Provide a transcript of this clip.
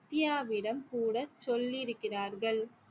தியாவிடம் கூட சொல்லியிருக்கிறார்கள்